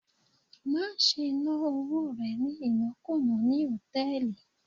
Má ṣe ná owó rẹ̀ ní ìnákùná ní hòtẹ́ẹ̀lì